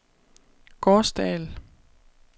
Gårsdal